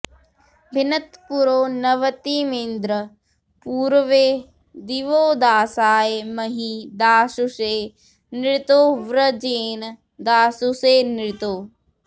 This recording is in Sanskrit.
भि॒नत्पुरो॑ नव॒तिमि॑न्द्र पू॒रवे॒ दिवो॑दासाय॒ महि॑ दा॒शुषे॑ नृतो॒ वज्रे॑ण दा॒शुषे॑ नृतो